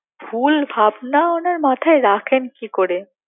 ভুল ভাবনা ওনার মাথায় রাখেন কি করে